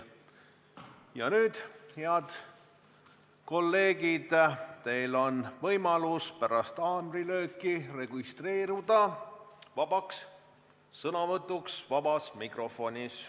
Ja nüüd, head kolleegid, on teil võimalus pärast haamrilööki registreeruda vabaks sõnavõtuks vabas mikrofonis.